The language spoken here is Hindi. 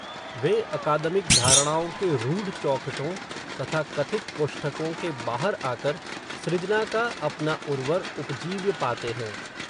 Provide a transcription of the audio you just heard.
वे अकादमिक धारणाओं के रूढ़ चौखटों, तथा कथित कोष्ठकों के बाहर आकर, सृजना का अपना उर्वर उपजीव्य पाते हैं